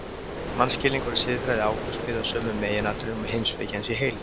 Mannskilningur og siðfræði Ágústs byggði á sömu meginatriðum og heimspeki hans í heild.